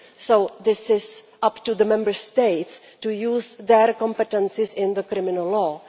So it is up to the Member States to use their competences in criminal law.